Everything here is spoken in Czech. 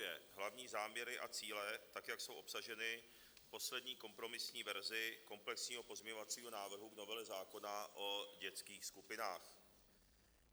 Vážené dámy a pánové, hnutí SPD podporuje hlavní záměry a cíle tak, jak jsou obsaženy v poslední kompromisní verzi komplexního pozměňovacího návrhu v novele zákona o dětských skupinách.